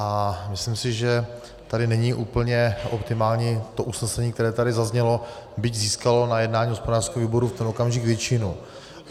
A myslím si, že tady není úplně optimální to usnesení, které tady zaznělo, byť získalo na jednání hospodářského výboru v ten okamžik většinu.